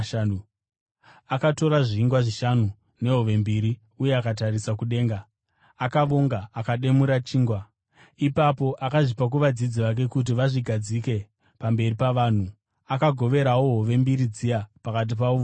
Akatora zvingwa zvishanu nehove mbiri uye akatarisa kudenga, akavonga akamedura chingwa. Ipapo akazvipa kuvadzidzi vake kuti vazvigadzike pamberi pavanhu. Akagoverawo hove mbiri dziya pakati pavo vose.